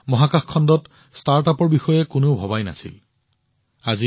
কেইবছৰমান আগলৈকে আমাৰ দেশত মহাকাশ খণ্ডত কোনেও ষ্টাৰ্টআপৰ বিষয়ে ভবা নাছিল